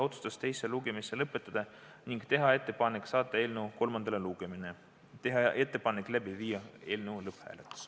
Otsustati teine lugemine lõpetada ning teha ettepanek saata eelnõu kolmandale lugemisele ja viia läbi eelnõu lõpphääletus.